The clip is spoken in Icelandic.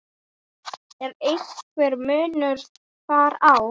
Er einhver munur þar á?